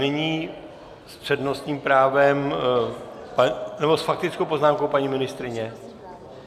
Nyní s přednostním právem... nebo s faktickou poznámkou, paní ministryně ?